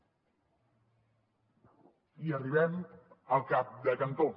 i arribem al cap de cantó